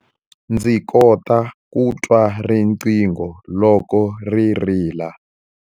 Ndzi kota ku twa riqingho loko ri rila.